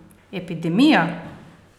Epidemija?